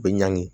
U bɛ ɲangi